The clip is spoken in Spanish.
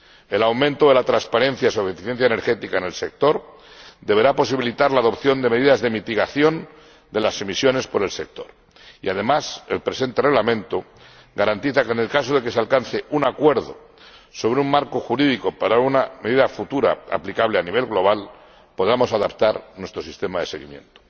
El aumento de la transparencia sobre la eficiencia energética en el sector deberá posibilitar la adopción de medidas de mitigación de las emisiones por el sector y, además, el presente Reglamento garantiza que, en el caso de que se alcance un acuerdo sobre un marco jurídico para una medida futura aplicable a nivel global, podamos adaptar nuestro sistema de seguimiento.